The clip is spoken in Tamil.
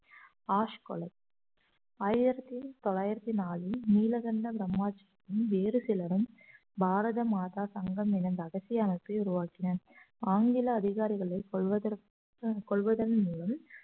ஆஸ் கொலை ஆயிரத்தி தொள்ளாயிரத்தி நாளில் நீலகண்ட பிரம்மாஜ் வேறு சிலரும் பாரத மாதா சங்கம் என இரகசிய அரசியலமைப்பை உருவாக்கினர் ஆங்கில அதிகாரிகளை கொள்வதற்க்~ கொள்வதன் மூலம்